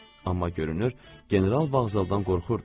Amma görünür, general vağzaldan qorxurdu.